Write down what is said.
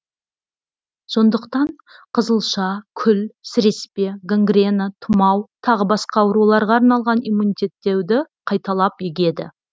сондықтан қызылша күл сіреспе гангрена тұмау тағы басқа ауруларға арналған иммунитеттеуді қайталап егеді